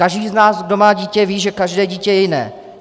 Každý z nás, kdo má dítě, ví, že každé dítě je jiné.